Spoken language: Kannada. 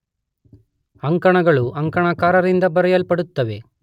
ಅಂಕಣಗಳು ಅಂಕಣಕಾರರಿಂದ ಬರೆಯಲ್ಪಡುತ್ತವೆ.